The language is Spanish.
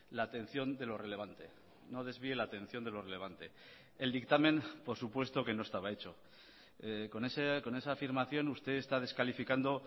la atención de lo relevante no desvíe la atención de lo relevante el dictamen por supuesto que no estaba hecho con esa afirmación usted está descalificando